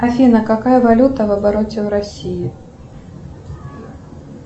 афина какая валюта в обороте в россии